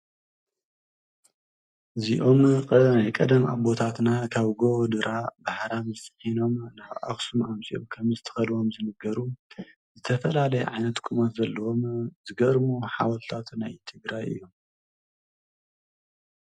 እዚኦም ናይ ቀደም ኣቦታትና ካብ ጎቦ ድራ ብሓራምዝ ፂዒኖም ናብ ኣክሱም ኣምጺኦም ከም ዝተከልዎም ዝንገሩ ዝተፈላለየ ዓይነት ቁመት ዘለዎም ዝገርሙ ሓወልቲታት ናይ ትግራይ እዩ።